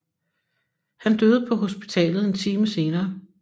Han døde på hospitalet en time senere